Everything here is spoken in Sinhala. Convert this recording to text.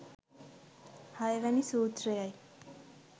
හයවැනි සූත්‍රයයි.